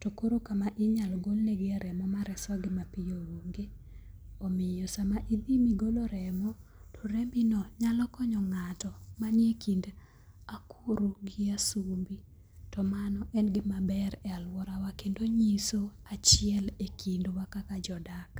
to koro kama inyalo golne gi remo mar aswagi mipyo onge. Omiyo sama idhi migolo remo to remo no nyalo konyo ng'ato mani e kind akuru gi asumbi to mano en gima ber e aluora wa kendo nyiso achiel e kindwa kaka jodak.